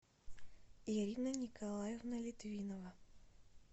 ирина николаевна литвинова